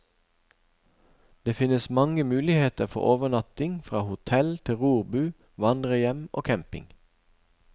Det finnes mange muligheter for overnatting, fra hotell til rorbu, vandrerhjem og camping.